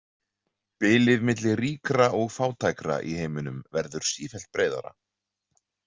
Bilið milli ríkra og fátækra í heiminum verður sífellt breiðara.